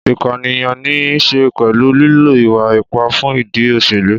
Ìpànìyàn ní í ṣe pẹ̀lú lílo ìwà ipá fún ìdí òṣèlú.